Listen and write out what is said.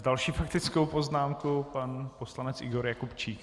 S další faktickou poznámkou pan poslanec Igor Jakubčík.